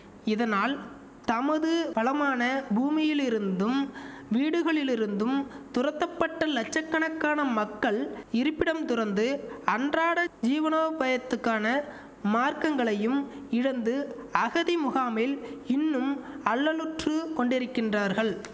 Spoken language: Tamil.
இதனால் தமது வளமான பூமியிலிருந்தும் வீடுகளிலிருந்தும் துரத்தப்பட்ட லட்சக் கணக்கான மக்கள் இருப்பிடம் துறந்து அன்றாட ஜீவனோபயத்துக்கான மார்க்கங்களையும் இழந்து அகதி முகாமில் இன்னும் அல்லலுற்றுக் கொண்டிருக்கின்றார்கள்